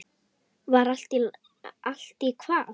Var allt í hvað?